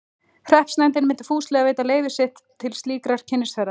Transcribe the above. Hreppsnefndin myndi fúslega veita leyfi sitt til slíkrar kynnisferðar.